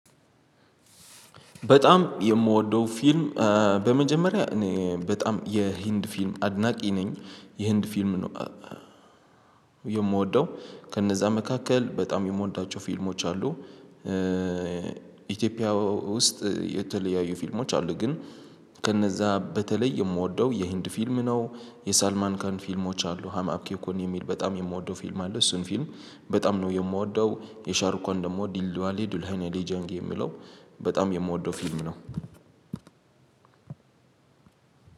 በጣም የምወደው ፊልም በመጀመሪያ እኔ በጣም የህንድ ፊልም አድናቂ ነኝ የህንድ ፊልም የምወደው ከነዛ መካከል በጣም የምወዳቸው ፊልሞች አሉ። ኢትዮጵያ ውስጥ የተለያዩ ፊልሞች አሉ ግን ከነዛ በተለይ የምወደው የህንድ ፊልም ነው። የሳልማንካን ፊልሞች አሉ ሀማብኬ እኮ የሚል በጣም የምወደው ፊልም አለ። እሱን ፊልም በጣም ነው የምወደው የሻርኮን ደግሞ ዲልዱዋሊ ዱላይነዴ ጀንግ የሚለው በጣም የምወደው ፊልም ነው።